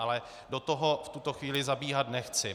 Ale do toho v tuto chvíli zabíhat nechci.